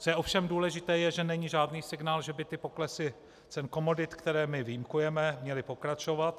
Co je ovšem důležité, je, že není žádný signál, že by ty poklesy cen komodit, které my vyjímkujeme, měly pokračovat.